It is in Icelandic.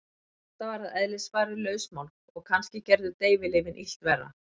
Marta var að eðlisfari lausmálg og kannski gerðu deyfilyfin illt verra.